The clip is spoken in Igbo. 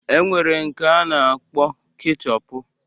E nwere nke a na-akpọ kechọpu